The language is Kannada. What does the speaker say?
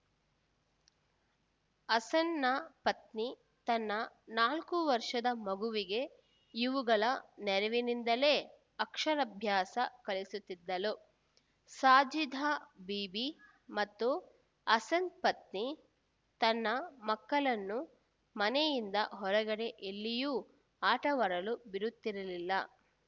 ಹಸನ್‌ನ ಪತ್ನಿ ತನ್ನ ನಾಲ್ಕು ವರ್ಷದ ಮಗುವಿಗೆ ಇವುಗಳ ನೆರವಿನಿಂದಲೇ ಅಕ್ಷರಭ್ಯಾಸ ಕಲಿಸುತ್ತಿದ್ದಳು ಶಾಜಿದಾ ಬೀಬಿ ಮತ್ತು ಹಸನ್‌ ಪತ್ನಿ ತನ್ನ ಮಕ್ಕಳನ್ನು ಮನೆಯಿಂದ ಹೊರಗಡೆ ಎಲ್ಲಿಯೂ ಆಟವಾಡಲು ಬಿಡುತ್ತಿರಲಿಲ್ಲ